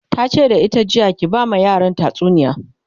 tace da ita jiya "ki ba ma yaran tatsuniya!"